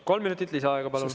Kolm minutit lisaaega, palun.